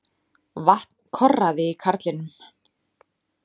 Vatn korraði í karlinum.